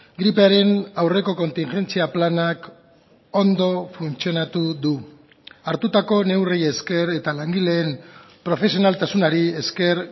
gripearen aurreko kontingentzia planak ondo funtzionatu du hartutako neurriei esker eta langileen profesionaltasunari esker